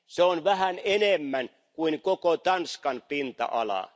Se on vähän enemmän kuin koko Tanskan pinta ala.